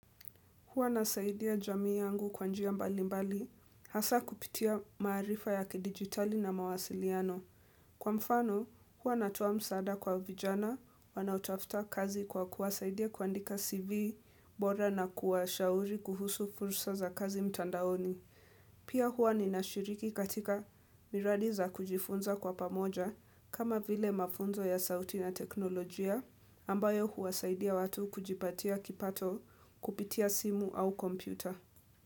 Huwa nasaidia jamii yangu kwa njia mbali mbali, hasa kupitia maarifa ya kidigitali na mawasiliano. Kwa mfano, huwa natoa msaada kwa vijana, wanautafuta kazi kwa kuwasaidia kuandika CV bora na kuwashauri kuhusu fursa za kazi mtandaoni. Pia huwa ninashiriki katika miradi za kujifunza kwa pamoja kama vile mafunzo ya sauti na teknolojia ambayo huwasaidia watu kujipatia kipato kupitia simu au kompyuta.